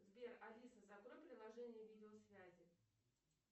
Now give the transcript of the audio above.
сбер алиса закрой приложение видеосвязи